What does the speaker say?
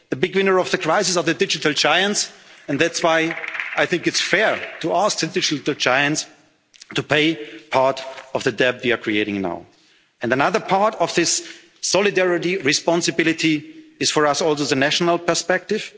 now installed. The big winners of the crisis are the digital giants, and that's why I think it's fair to ask the digital giants to pay part of the debt we are creating now. And another part of this solidarity, responsibility, is for us all the national